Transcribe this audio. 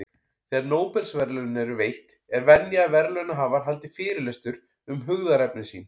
Þegar Nóbelsverðlaun eru veitt, er venja að verðlaunahafar haldi fyrirlestur um hugðarefni sín.